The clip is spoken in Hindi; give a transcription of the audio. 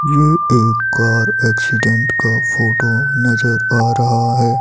यह एक कार एक्सीडेंट का फोटो नजर आ रहा है।